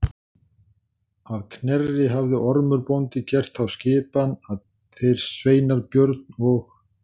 Að Knerri hafði Ormur bóndi gert þá skipan að þeir sveinar Björn og